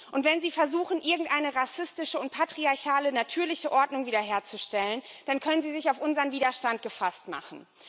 Und wenn sie versuchen, irgendeine rassistische und patriarchale natürliche Ordnung wiederherzustellen, dann können sie sich auf unseren Widerstand gefasst machen.